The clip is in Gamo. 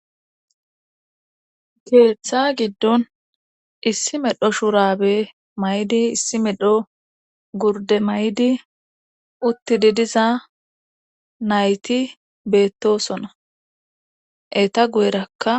keeththa giddon issi medho shuurabe may7di issi medho gurde may7di uttidi diza nayti beettosona eta guyerakka